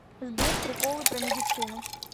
сбер приколы про медицину